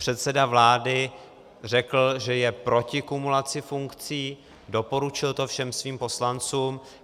Předseda vlády řekl, že je proti kumulaci funkcí, doporučil to všem svým poslancům.